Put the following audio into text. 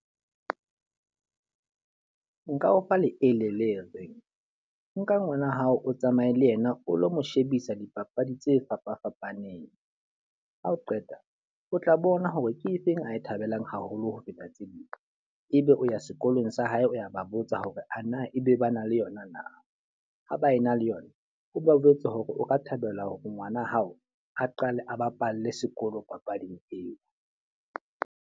Nka o fa leele le reng, nka ngwana hao o tsamaye le yena o lo mo shebisa dipapadi tse fapa fapaneng. Ha o qeta, o tla bona hore ke efeng a e thabelang haholo ho feta tse ding. E be o ya sekolong sa hae o ya ba botsa hore ana e be ba na le yona na? Ha ba e na le yona, o ba jwetse hore o ka thabela hore ngwana hao a qale a bapalle sekolo papading eo.